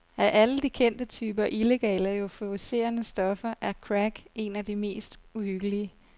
Af alle de kendte typer illegale euforiserende stoffer er crack en af de mest uhyggelige.